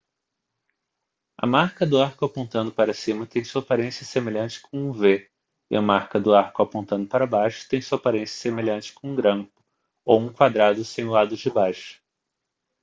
a marca do arco apontando para cima tem sua aparência semelhante com um v e a marca do arco apontando para baixo tem sua aparência semelhante com um grampo ou um quadrado sem o lado de baixo